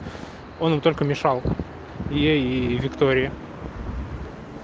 он им только мешал ей и виктории